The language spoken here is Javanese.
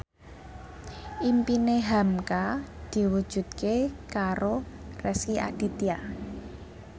impine hamka diwujudke karo Rezky Aditya